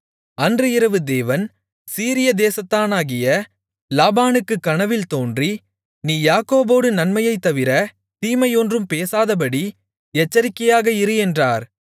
அன்று இரவு தேவன் சீரியா தேசத்தானாகிய லாபானுக்குக் கனவில் தோன்றி நீ யாக்கோபோடு நன்மையைத் தவிர தீமை ஒன்றும் பேசாதபடி எச்சரிக்கையாக இரு என்றார்